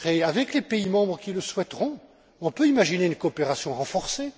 Avec les pays membres qui le souhaiteront, on peut imaginer des coopérations renforcées.